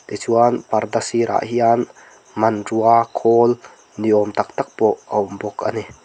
tichuan parda sirah hian hmanrua khawl ni awm tak tak pawh a awm bawk ani.